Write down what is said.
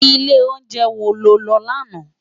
Ilé óunjè wó ló lò làná?